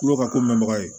Kulo ka ko mɛnbaga ye